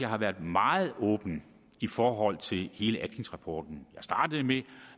har været meget åben i forhold til hele atkinsrapporten jeg startede med